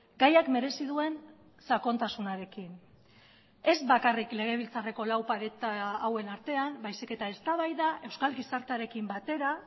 gaiak merezi duen sakontasunarekin ez bakarrik legebiltzarreko lau paretahauen artean baizik eta eztabaida euskal gizartearekin batera